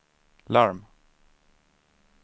larm